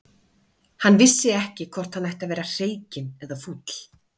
Hann vissi ekki hvort hann ætti að vera hreykinn eða fúll.